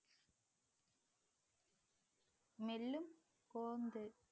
மெல்லும்